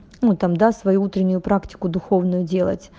ну тогда свою утреннюю практику духовную делать